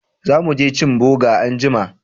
Za mu je cin boga anjima